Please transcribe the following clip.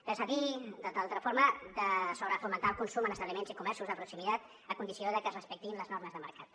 res a dir de sobrefomentar el consum en establiments i comerços de proximitat a condició de que es respectin les normes de mercat